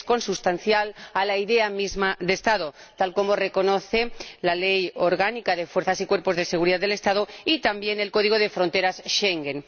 Es consustancial a la idea misma de Estado, tal como reconocen la Ley Orgánica de Fuerzas y Cuerpos de Seguridad del Estado y también el código de fronteras Schengen.